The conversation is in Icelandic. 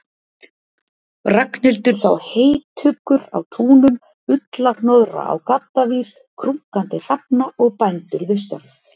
Ragnhildur sá heytuggur á túnum, ullarhnoðra á gaddavír, krunkandi hrafna og bændur við störf.